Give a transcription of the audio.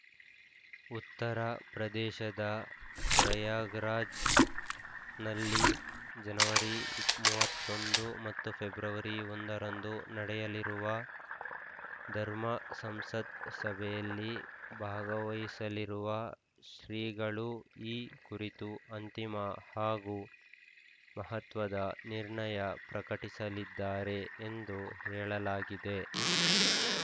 ಉತ್ತರ ಪ್ರದೇಶದ ಪ್ರಯಾಗ್‌ರಾಜ್‌ನಲ್ಲಿ ಜನವರಿ ಮೂವತ್ತ್ ಒಂದು ಮತ್ತು ಫೆಬ್ರವರಿ ಒಂದರಂದು ನಡೆಯಲಿರುವ ಧರ್ಮ ಸಂಸತ್‌ ಸಭೆಯಲ್ಲಿ ಭಾಗವಹಿಸಲಿರುವ ಶ್ರಿಗಳು ಈ ಕುರಿತು ಅಂತಿಮ ಹಾಗೂ ಮಹತ್ವದ ನಿರ್ಣಯ ಪ್ರಕಟಿಸಲಿದ್ದಾರೆ ಎಂದು ಹೇಳಲಾಗಿದೆ